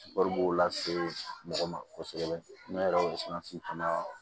b'o lase mɔgɔ ma kosɛbɛ ne yɛrɛ sɔnna sisan fana